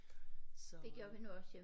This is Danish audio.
Så